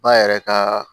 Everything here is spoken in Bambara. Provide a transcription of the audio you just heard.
Ba yɛrɛ ka